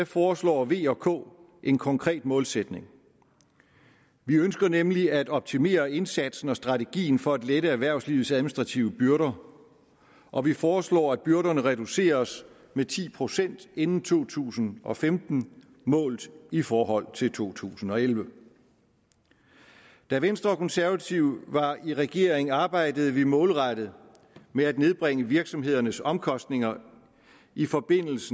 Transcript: foreslår v og k en konkret målsætning vi ønsker nemlig at optimere indsatsen og strategien for at lette erhvervslivets administrative byrder og vi foreslår at byrderne reduceres med ti procent inden to tusind og femten målt i forhold til to tusind og elleve da venstre og konservative var i regering arbejdede vi målrettet med at nedbringe virksomhedernes omkostninger i forbindelse